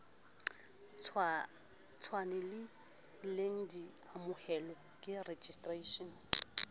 tshwanelehileng di amohelwe ke registration